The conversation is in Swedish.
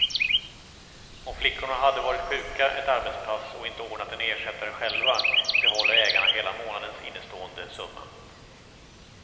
Om flickorna har varit sjuka ett arbetspass och inte ordnat en ersättare själva, behåller ägarna hela månadens innestående summa.